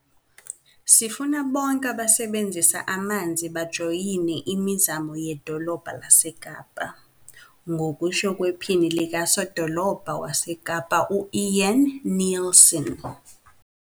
"Sifuna bonke abasebenzisa amanzi bajoyine imizamo ye-Dolobha laseKapa," ngokusho kwePhini likaSodolobha waseKapa u-Ian Neilson.